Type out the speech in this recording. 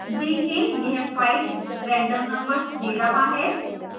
देखें यह 5 random numbers see रहा है